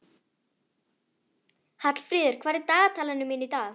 Hallfríður, hvað er í dagatalinu mínu í dag?